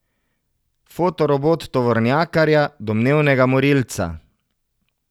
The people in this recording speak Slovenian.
Fotorobot tovornjakarja, domnevnega morilca.